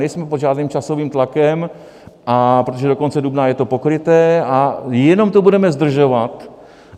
Nejsme pod žádným časovým tlakem, protože do konce dubna je to pokryté a jenom to budeme zdržovat.